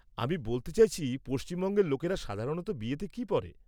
আমি বলতে চাইছি পশ্চিমবঙ্গের লোকেরা সাধারণত বিয়েতে কী পরে।